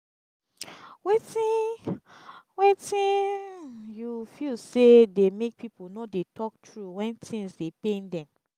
wetin wetin you feel say dey make people no dey talk true when things dey pain dem?